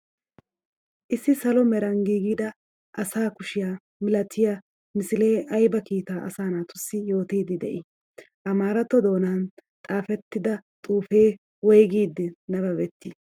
Issi salo meraan giggidaa asaa kushiya milaatiya misile aybba kiittaa asaa naatusi yootiydi de7i? Amaaratto doonan xafetidda xufe woygidi nabbaabeti?